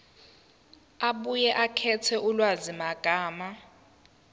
abuye akhethe ulwazimagama